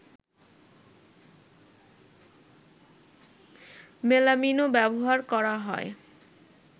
মেলামিনও ব্যবহার করা হয়